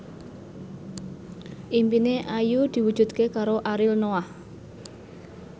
impine Ayu diwujudke karo Ariel Noah